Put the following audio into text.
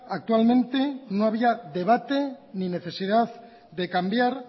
actualmente no había debate ni necesidad de cambiar